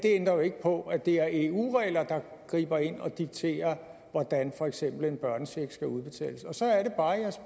det ændrer ikke på at det er eu regler der griber ind og dikterer for eksempel hvordan en børnecheck skal udbetales så